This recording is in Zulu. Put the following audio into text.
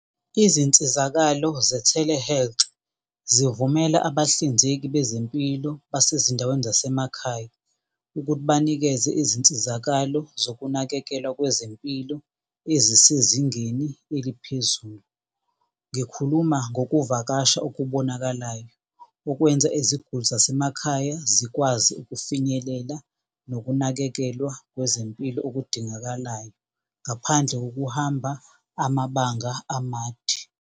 Izinsizakalo ze-Telehealth zivumela abahlinzeki bezempilo basezindaweni zasemakhaya ukuthi banikeze izinsizakalo zokunakekelwa kwezempilo ezisezingeni eliphezulu. Ngikhuluma ngokuvakasha okubonakalayo okwenza iziguli zasemakhaya zikwazi ukufinyelela nokunakekelwa kwezempilo okudingakalayo ngaphandle kokuhamba amabanga amade.